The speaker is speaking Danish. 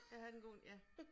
Jeg havde den gode ja